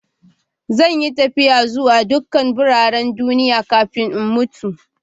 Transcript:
Zan yi tafiya zuwa dukan biranen duniya kafin in mutu.